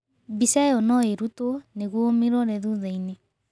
Mbica ĩyo no ĩrutwo nĩguo ũmirore thutha-inĩ.